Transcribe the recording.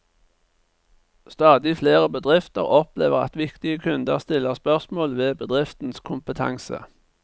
Stadig flere bedrifter opplever at viktige kunder stiller spørsmål ved bedriftens kompetanse.